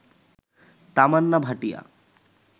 Tamannaah Bhatia